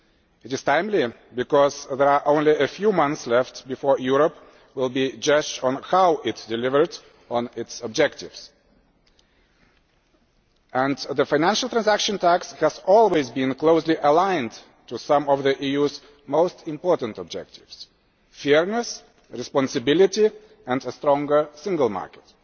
It is timely because there are only a few months left before Europe will be judged on how it has delivered on its objectives, and the Financial Transaction Tax has always been closely aligned to some of the EU's most important objectives fairness, responsibility and a stronger Single Market.